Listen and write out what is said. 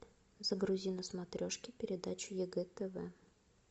загрузи на смотрешке передачу егэ тв